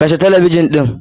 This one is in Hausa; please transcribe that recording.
Kashe talabijin ɗin!